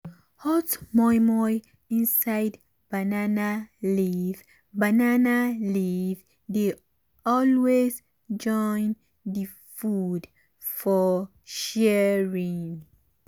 hot moimoi inside banana leaf banana leaf dey always join food for sharing.